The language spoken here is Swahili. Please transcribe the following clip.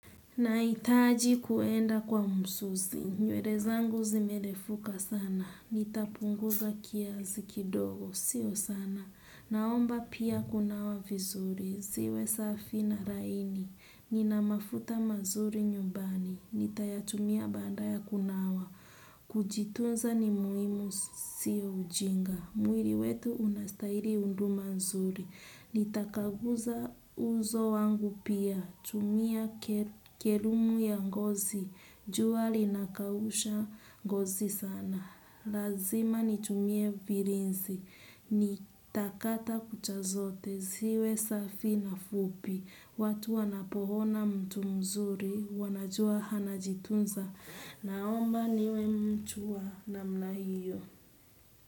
Nahitaji kuenda kwa msusi. Nywele zangu zimerefuka sana. Nitapunguza kiasi kidogo. Sio sana. Naomba pia kunawa vizuri. Ziwe safi na raini. Nina mafuta mazuri nyumbani. Nitayatumia baanda ya kunawa. Kujitunza ni muhimu siyo ujinga. Mwiri wetu unastairi hunduma nzuri. Nitakaguza uzo wangu pia. Tumia kerumu ya ngozi. Jua linakausha ngozi sana. Lazima nitumie virinsi. Nitakata kucha zote. Ziwe safi na fupi. Watu wanapoona mtu mzuri wanajua anajitunza. Naomba niwe mtu wa namna hiyo.